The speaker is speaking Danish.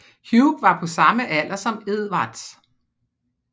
Hugh var på samme alder som Edvard